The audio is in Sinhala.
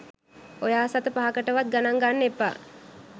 ඔයා සත පහකට වත් ගණන් ගන්න එපා.